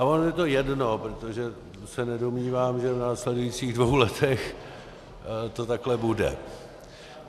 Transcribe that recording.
A ono je to jedno, protože se nedomnívám, že v následujících dvou letech to takhle bude.